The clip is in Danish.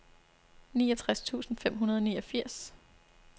niogtres tusind fem hundrede og niogfirs